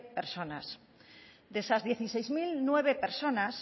personas de esas dieciséis mil nueve personas